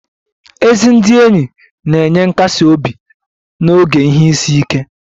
Ezi ndị enyi na-enye nkasi obi n'oge ihe isi ike